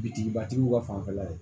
Bitigibatigiw ka fanfɛla ye